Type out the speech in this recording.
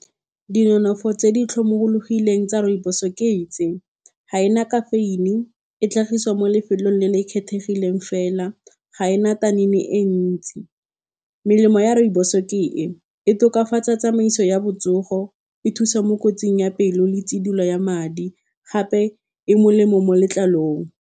Di nonofo tse di tlhomologileng tsa rooibos-e ke tse, ga ena caffeine, e tlhagisiwa mo lefelong le le kgethegileng fela, ga ena e ntsi. Melemo ya rooibos-o ke e, e tokafatsa tsamaiso ya botsogo, e thusa mo kotsing ya pelo le tshidilo ya madi, gape e molemo mo letlalong.